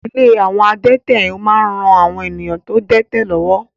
Ilé àwọn adẹ́tẹ̀ ń ran àwọn èèyàn tó dẹ́tẹ̀ lọ́wọ́